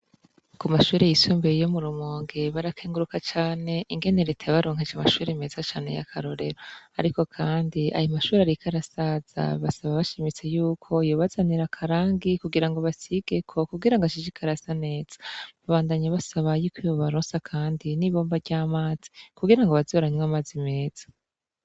Ku mashuri yisumbeye iyo mu rumonge barakenguruka cane ingene ritabaronkeje mashuri meza cane yakarorero ariko, kandi aya mashuri arika arasaza basaba bashimitse yuko yubazanira akarangi kugira ngo basigeko kugira ngo ashise ikarasanetsa babandanya basabayiko ibo baronsa, kandi n'ibomba ry'amazi kugira ngo bazia ranywe amazi meza.